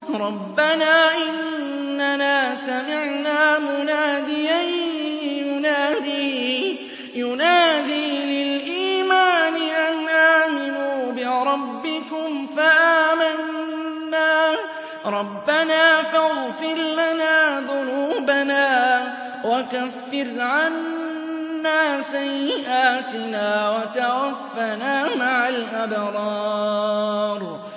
رَّبَّنَا إِنَّنَا سَمِعْنَا مُنَادِيًا يُنَادِي لِلْإِيمَانِ أَنْ آمِنُوا بِرَبِّكُمْ فَآمَنَّا ۚ رَبَّنَا فَاغْفِرْ لَنَا ذُنُوبَنَا وَكَفِّرْ عَنَّا سَيِّئَاتِنَا وَتَوَفَّنَا مَعَ الْأَبْرَارِ